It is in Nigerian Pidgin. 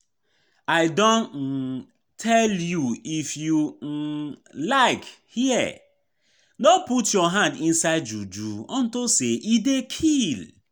I don um tell you if you um like hear. No put your hand inside juju unto say e dey kill